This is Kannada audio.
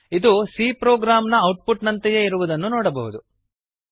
ಇದು c ಪ್ರೊಗ್ರಾಮ್ ನ ಔಟ್ ಪುಟ್ ನಂತೆಯೇ ಇರುವುದನ್ನು ನೋಡಬಹುದು